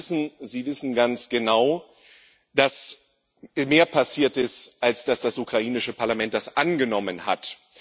Sie wissen ganz genau, dass mehr passiert ist, als dass das ukrainische Parlament das angenommen hat.